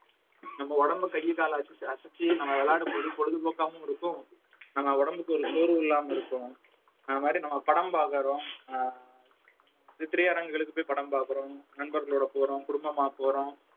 நம்ம உடம்பை கை கால அசைச்சு அசைச்சு நம்ம விளையாடும் போது பொழுதுபோக்காவும் இருக்கும் நம்ம உடம்புக்கு ஒரு சோர்வு இல்லாம இருக்கும் அது மாதிரி நம்ம படம் பார்க்கிறோம் அஹ் இப்ப திரையரங்குகளுக்கு போய் படம் பார்க்கிறோம் நண்பர்களோட போறோம் குடும்பமா போறோம்